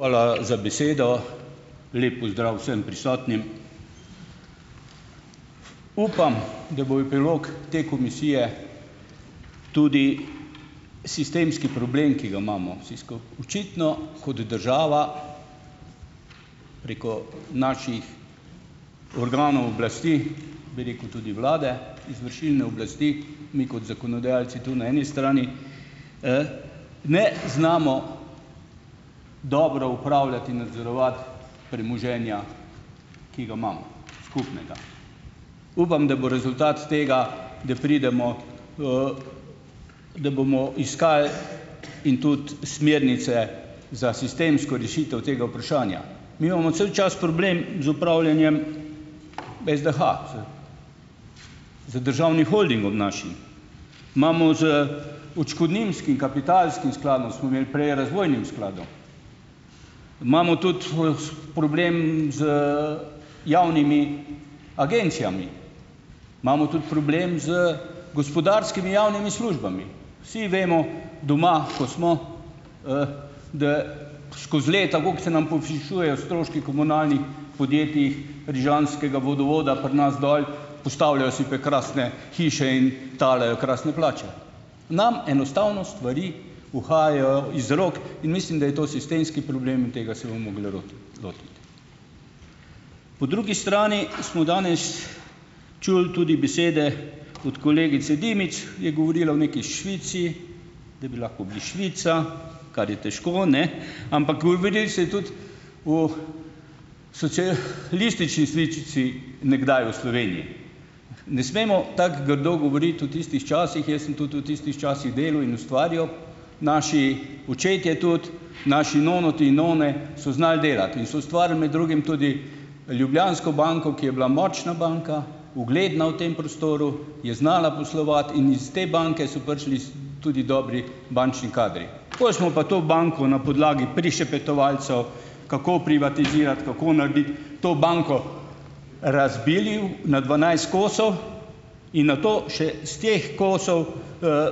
Hvala za besedo. Lep pozdrav vsem prisotnim! Upam, da bo epilog te komisije tudi sistemski problem, ki ga imamo vsi skupaj. Očitno kot država preko naših organov oblasti, bi rekel, tudi vlade, izvršilne oblasti in kot zakonodajalci tu na eni strani, ne znamo dobro upravljati in nadzorovati premoženja, ki ga imamo - skupnega. Upam, da bo rezultat tega, da pridemo, da bomo iskali in tudi smernice za sistemsko rešitev tega vprašanja. Mi imamo cel čas problem z upravljanjem SDH, z državnim holdingom našim, imamo z odškodninskim kapitalskim skladom, smo imeli prej razvojnim skladom, imamo tudi problem z javnimi agencijami, imamo tudi problem z gospodarskimi javnimi službami. Vsi vemo, doma, ko smo, da, skozi leta, koliko se nam povišujejo stroški komunalni podjetij rižanskega vodovoda pri nas dol. Postavljajo si prekrasne hiše in talajo krasne plače, nam enostavno stvari uhajajo iz rok in mislim, da je to sistemski problem in tega se bomo mogli lotiti. Po drugi strani smo danes čuli tudi besede od kolegice Dimic, je govorila o neki Švici, da bi lahko bili Švica, kar je težko, ne, ampak govorilo se je tudi o listični sličici nekdaj v Sloveniji. Ne smemo tako grdo govoriti o tistih časih. Jaz sem tudi v tistih časih delu in ustvarjal, naši očetje tudi, naši nonoti in none so znali delati in so ustvarili med drugim tudi Ljubljansko banko, ki je bila močna banka, ugledna v tem prostoru, je znala poslovati in iz te banke so prišli tudi dobri bančni kadri, pol smo pa to banko na podlagi prišepetovalcev kako privatizirati, kako narediti, to banko razbili na dvanajst kosov in nato še s teh kosov,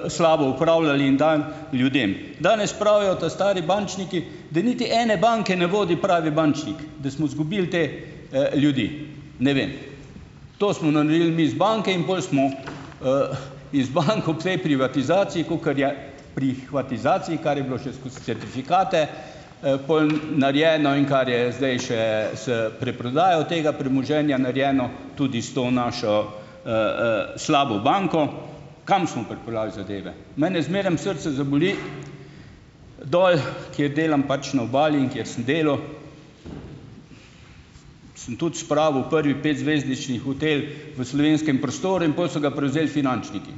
slabo upravljali in dan ljudem. Danes pravijo ta stari bančniki, da niti ene banke ne vodi pravi bančnik, da smo zgubili te, ljudi, ne vem. To smo naredil mi z banke in pol smo, iz bank ob tej privatizaciji, kakor je, prihvatizaciji, kar je bilo še skozi certifikate, pol narejeno, in kar je zdaj še s preprodajo tega premoženja narejeno tudi s to našo, slabo banko. Kam smo pripeljali zadeve? Mene zmeraj srce zaboli, dol, kjer delam pač na obali in kjer sem delal, sem tudi spravil prvi petzvezdnični hotel v slovenskem prostoru in pol so ga prevzeli finančniki,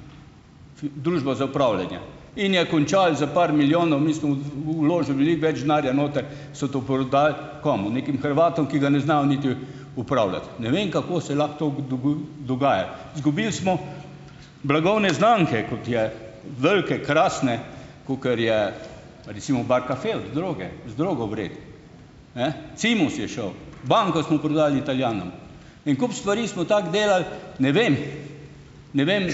družba za upravljanje. In je končal s par milijoni, mi smo vložili veliko več denarja noter, so to prodali - komu? - nekim Hrvatom, ki ga ne znajo niti upravljati. Ne vem, kako se lahko to dogaja. Izgubili smo blagovne znamke, kot je velike, krasne, kakor je recimo Barcaffe od Droge, z Drogo vred. Cimos je šel. Banko smo prodali Italijanom. En kup stvari smo tako delali, ne vem, ne vem,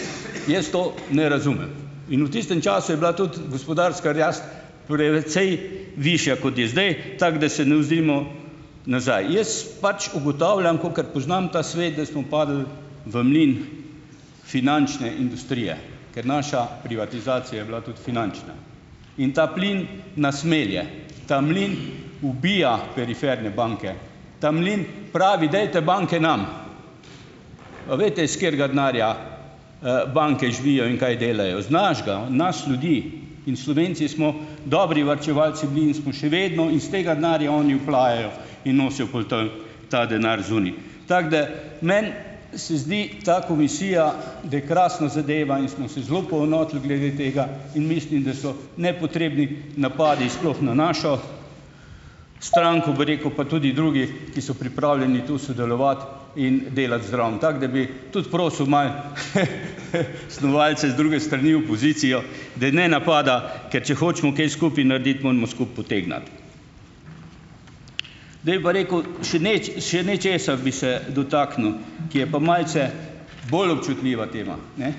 jaz to ne razumem. In v tistem času je bila tudi gospodarska rast precej višja, kot je zdaj, tako da se ne oziramo nazaj. Jaz pač ugotavljam, kakor poznam ta svet, da smo padli v mlin finančne industrije, ker naša privatizacija je bila tudi finančna. In ta plin nas melje, ta mlin ubija periferne banke. Ta mlin pravi: "Dajte banke nam." Pa veste, s katerega denarja, banke živijo in kaj delajo. Z našega, nas ljudi. In Slovenci smo dobri varčevalci bili in smo še vedno in iz tega denarja oni oplajajo in nosijo pol ta ta denar zunaj. Tako da meni se zdi ta komisija, da je krasna zadeva in smo se zelo poenotili glede tega in mislim, da so nepotrebni napadi sploh na našo stranko, bi rekel, pa tudi drugi, ki so pripravljeni tu sodelovati in delati zraven. Tako da bi tudi prosil malo snovalce z druge strani, opozicijo, da ne napada, ker če hočemo kaj skupaj narediti, moramo skupaj potegniti. Zdaj pa rekel, še še nečesa bi se dotaknil, ki je pa malce bolj občutljiva tema, ne.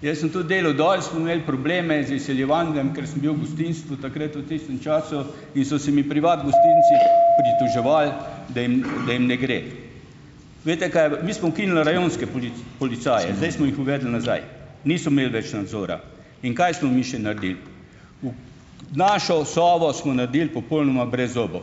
Jaz sem tudi delal dol, smo imeli probleme z izsiljevanjem, ker sem bil v gostinstvu takrat v tistem času in so se mi privat gostinci pritoževali , da jim da jim ne gre. Veste kaj, mi smo ukinili rajonske policaje, zdaj smo jih uvedli nazaj. Niso imeli več nadzora. In kaj smo mi še naredili? Našo Sovo smo naredili popolnoma brezzobo ...